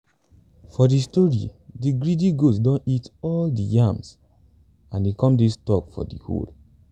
for de story de greedy goat don eat all dey yams and e come dey stuck for de hole